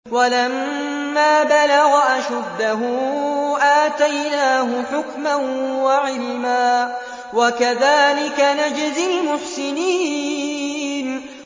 وَلَمَّا بَلَغَ أَشُدَّهُ آتَيْنَاهُ حُكْمًا وَعِلْمًا ۚ وَكَذَٰلِكَ نَجْزِي الْمُحْسِنِينَ